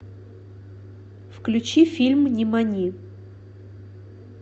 включи фильм нимани